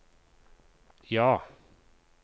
ja